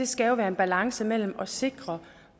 skal jo være en balance mellem at sikre